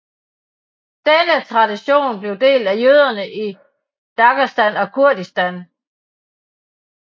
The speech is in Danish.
Denne tradition bliver delt af jøderne i Dagestan og Kurdistan